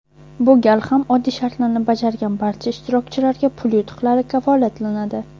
Bu gal ham oddiy shartlarni bajargan barcha ishtirokchilarga pul yutuqlari kafolatlanadi.